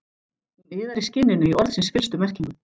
Hún iðar í skinninu í orðsins fyllstu merkingu.